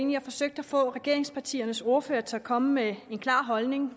vi har forsøgt at få regeringspartiernes ordførere til at komme med en klar holdning